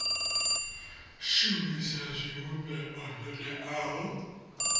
shumisa zwivhumbeo zwo teaho kha